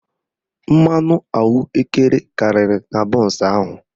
Mmanụ ahụekere karịrị na bọnsụ ahụ